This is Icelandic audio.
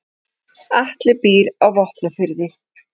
Atli býr á Vopnafirði.